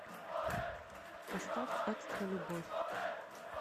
поставь экстра любовь